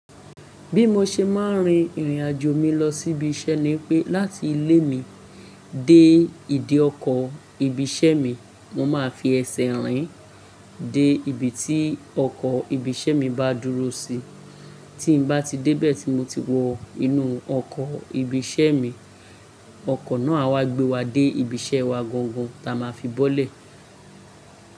Bí mo ṣe máa ń rin ìrìnàjò mi lọ sí ibi iṣẹ́ ni i pé láti ilé mi dé ìdí ọkọ̀ ibi iṣẹ́ mi, mo máa fi ẹsẹ̀ rìn dé ibi tí ọkọ̀ ibi iṣẹ́ mi bá dúró sí. Tí n bá ti dé bẹ̀ tí mo ti wọ inú ọkọ̀ ibi iṣẹ́ mi, ọkọ̀ náà a wá gbé wa dé ibi iṣẹ́ wa gangan, táa ma fi bọ́lẹ̀.